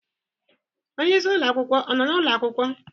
Onye isi ụlọ akwụkwọ ọ nọ n'ụlọ akwụkwọ?